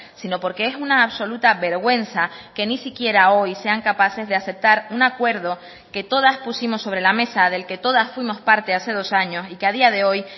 sino porque es una absoluta vergüenza que ni siquiera hoy sean capaces de aceptar un acuerdo que todas pusimos sobre la mesa del que todas fuimos parte hace dos años y que a día de hoy